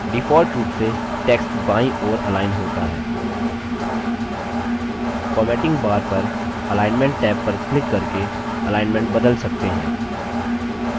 default रूप से text बायीं ओर अलाइन होता है formatting bar पर अलाइन्मन्ट टैब पर क्लिक करके अलाइन्मन्ट बदल सकते हैं